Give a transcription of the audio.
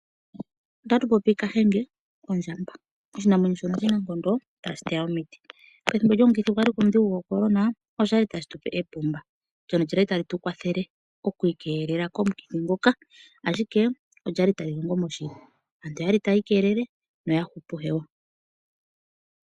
Ota tu popi Kahenge, ondjamba oshinamwenyo shono oshinankondo tashi teya omiti pethimbo lyomukithi gwa liko omudhigu goCorona osha li tashi tupe epumba ndyono lya li tali tu keelele komukithi nguka ashike olyali tali longo moshili, aantu oyali tayi ikeelele noya hupu hewa.